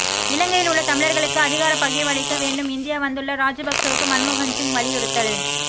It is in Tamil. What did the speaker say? இலங்கையில் உள்ள தமிழர்களுக்கு அதிகாரப் பகிர்வளிக்க வேண்டும் இந்தியா வந்துள்ள ராஜபக்சவுக்கு மன்மோகன் சிங் வலியுறுத்தல்